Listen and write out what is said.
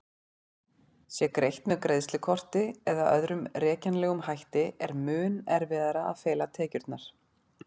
Sé greitt með greiðslukorti eða öðrum rekjanlegum hætti er mun erfiðara að fela tekjurnar.